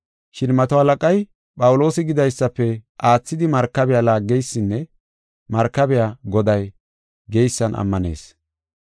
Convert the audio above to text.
Shin mato halaqay Phawuloosi gidaysafe aathidi markabiya laaggeysinne markabiya goday geysan ammanis.